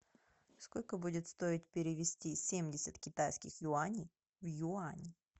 сколько будет стоить перевести семьдесят китайских юаней в юань